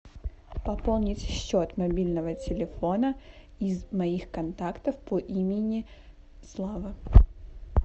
пополнить счет мобильного телефона из моих контактов по имени слава